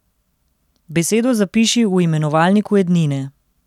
Besedo zapiši v imenovalniku edine.